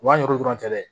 U b'a ɲu dɔrɔn cɛ dɛ